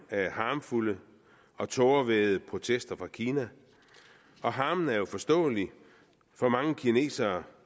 af harmfulde og tårevædede protester fra kina og harmen er jo forståelig for mange kinesere